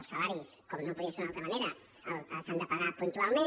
els salaris com no podria ser d’una altra manera s’han de pagar puntualment